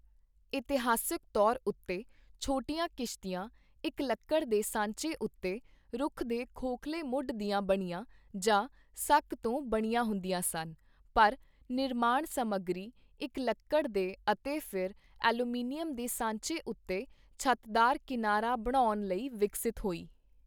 ਇਤਿਹਾਸਕ ਤੌਰ ਉੱਤੇ, ਛੋਟੀਆਂ ਕਿਸਤੀਆਂ ਇੱਕ ਲੱਕੜ ਦੇ ਸਾਂਚੇ' ਉੱਤੇ ਰੁੱਖ ਦੇ ਖੋਖਲੇ ਮੁੱਢ ਦੀਆਂ ਬਣੀਆਂ ਜਾਂ ਸੱਕ ਤੋਂ ਬਣੀਆਂ ਹੁੰਦੀਆਂ ਸਨ, ਪਰ ਨਿਰਮਾਣ ਸਮੱਗਰੀ ਇੱਕ ਲੱਕੜ ਦੇ ਅਤੇ ਫਿਰ ਐਲੂਮੀਨੀਅਮ ਦੇ ਸਾਂਚੇ ਉੱਤੇ ਛੱਤਦਾਰ ਕਿਨਾਰਾ ਬਣਾਉਣ ਲਈ ਵਿਕਸਤ ਹੋਈ।